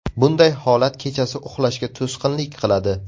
Bunday holat kechasi uxlashga to‘sqinlik qiladi.